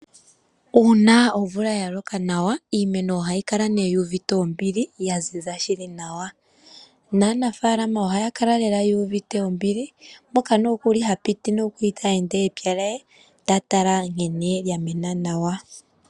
Uuna omvula ya loka nawa, iimeno ohayi kala nee yu uvite ombili, ya ziza shili nawa naanafaalama ohaya kala lela yu uvite ombili mpoka nookuli ha piti nookuli ta ende epya lye, ta tala nkene ya mena nawa.